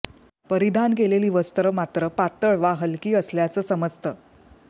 परिधान केलेली वस्त्र मात्र पात्तळ वा हलकी असल्याचं समजतं